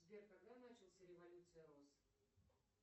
сбер когда начался революция роз